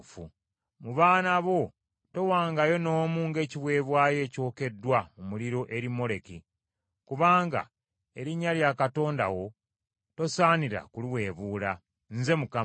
“ ‘Mu baana bo towangayo n’omu ng’ekiweebwayo ekyokeddwa mu muliro eri Moleki, kubanga erinnya lya Katonda wo tosaanira kuliweebuulanga. Nze Mukama .